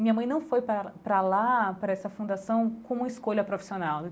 Minha mãe não foi para para lá, para essa fundação, como uma escolha profissional.